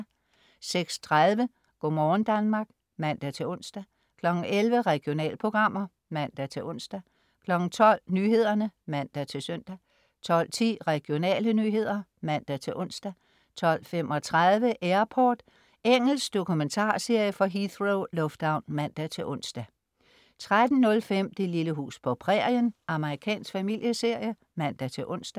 06.30 Go' morgen Danmark (man-ons) 11.00 Regionalprogrammer (man-ons) 12.00 Nyhederne (man-søn) 12.10 Regionale nyheder (man-ons) 12.35 Airport. Engelsk dokumentarserie fra Heathrow lufthavn (man-ons) 13.05 Det lille hus på prærien. Amerikansk familieserie (man-ons)